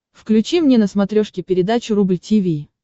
включи мне на смотрешке передачу рубль ти ви